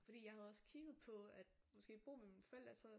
Fordi jeg havde også kigget på at måske bo med mine forældre og så